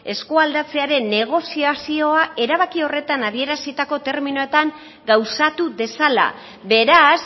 eskualdatzearen negoziazioa erabaki horretan adierazitako terminoetan gauzatu dezala beraz